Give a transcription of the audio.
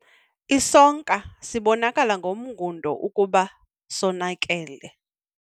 Isonka sibonakala ngomngundo ukuba sonakele.